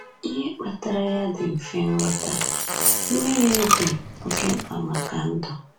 Ihe kpatara ya dị mfe nghọta: Mmiri dị oké mkpa maka ndụ.